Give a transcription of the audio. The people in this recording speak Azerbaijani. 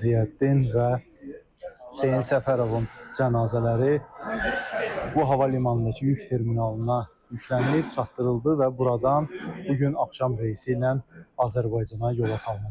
Ziyəddin və Hüseyn Səfərovun cənazələri bu hava limanındakı yük terminalına yüklənilib, çatdırıldı və buradan bu gün axşam reysi ilə Azərbaycana yola salınacaq.